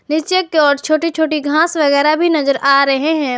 नीचे की ओर छोटी छोटी घास वगैरा भी नजर आ रहे है।